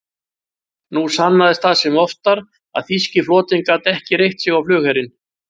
Nú sannaðist það sem oftar, að þýski flotinn gat ekki reitt sig á flugherinn.